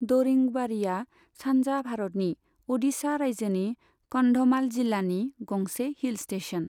दरिंगबाड़ीआ सानजा भारतनि अडिशा राज्योनि कन्धमाल जिल्लानि गंसे हिल स्टेशन।